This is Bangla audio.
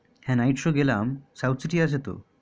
হ্যা night show গেলাম southcity আছে তো